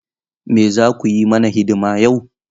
Me za ku yi mana hidima yau?